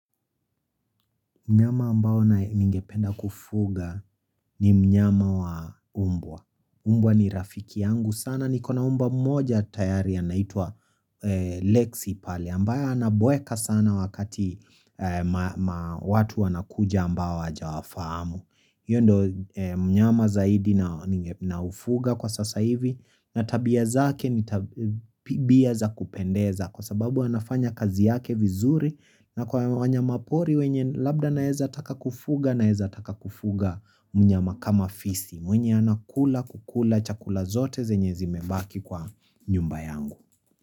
Mnyama ambao ningependa kufuga ni mnyama wa mbwa. Mbwa ni rafiki yangu. Sana niko na mbwa mmoja tayari anaitwa Lexi pale. Ambaye anabweka sana wakati watu wanakuja ambao hajawafahamu. Hiyo ndio mnyama zaidi naufuga kwa sasa hivi na tabia zake ni tabia za kupendeza kwa sababu anafanya kazi yake vizuri na kwa wanyamapori wenye labda naeza taka kufuga naeza taka kufuga mnyama kama fisi. Mwenye anakula, kukula, chakula zote zenye zimebaki kwa nyumba yangu.